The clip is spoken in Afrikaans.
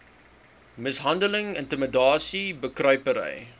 mishandeling intimidasie bekruipery